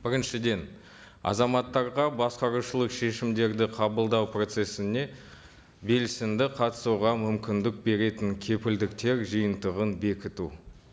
біріншіден азаматтарға басқарушылық шешімдерді қабылдау процессіне белсенді қатысуға мүмкіндік беретін кепілдіктер жиынтығын бекіту